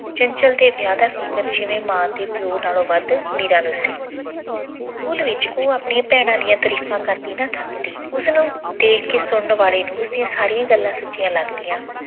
ਚੰਚਲ ਦੇ ਵਿਆਹ ਦਾ ਫਿਕਰ ਜਿਵੇਂ ਮਾਂ ਤੇ ਪਿਓ ਨਾਲੋਂ ਵੱਧ ਮੀਰਾ ਨੂੰ ਸੀ। school ਵਿੱਚ ਉਹ ਆਪਣੀਆਂ ਭੈਣਾਂ ਦੀਆਂ ਤਰੀਫਾਂ ਕਰਦੀ ਨਾ ਥੱਕਦੀ। ਉਸਨੂੰ ਦੇਖ ਕੇ ਸੁਣਨ ਵਾਲੇ ਨੂੰ ਉਸਦੀਆਂ ਸਾਰੀਆਂ ਗੱਲਾਂ ਸੱਚੀਆਂ ਲੱਗਦੀਆਂ। ਉਸਦੀ ਇੱਕ ਸਹੇਲੀ ਨੇ ਜਿਸ ਦਿਨ ਆਪਣੇ ਭਰਾ ਦੇ ਲਈ